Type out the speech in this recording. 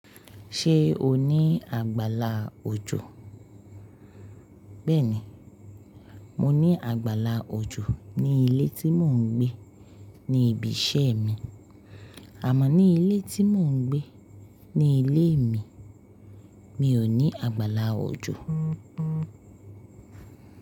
Ṣé o ní àgbàlá òjò? Bẹ́ẹ̀ni, mo ní àgbàlá òjò ní ilé tí mò ń gbé ní ibi iṣẹ́ mi, àmó ní ilé tí mò ń gbé ní ilé mi, mi ò ní àgbàlá òjò.